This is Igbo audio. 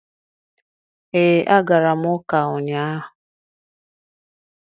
Ee, agara m ụka ụnyahụ.